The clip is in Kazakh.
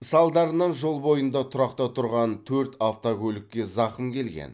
салдарынан жол бойында тұрақта тұрған төрт автокөлікке зақым келген